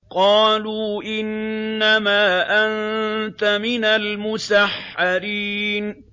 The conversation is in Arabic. قَالُوا إِنَّمَا أَنتَ مِنَ الْمُسَحَّرِينَ